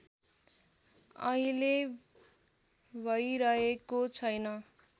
अहिले भैरहेको छैन